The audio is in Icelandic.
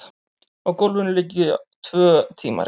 Á gólfinu liggja tvö tímarit.